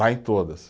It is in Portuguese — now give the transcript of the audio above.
Está em todas.